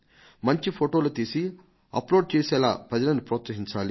మంచి ఫొటోలు తీసి అప్లోడ్ చేసేటట్లు ప్రజలను ప్రోత్సహించాలి